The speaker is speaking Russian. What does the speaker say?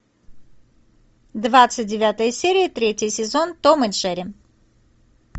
двадцать девятая серия третий сезон том и джерри